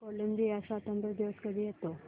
Colombia स्वातंत्र्य दिवस कधी येतो